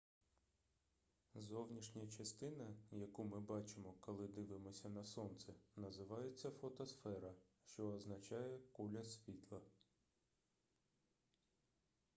зовнішня частина яку ми бачимо коли дивимося на сонце називається фотосфера що означає куля світла